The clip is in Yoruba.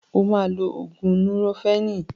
O máa lo ògùn núrofénì.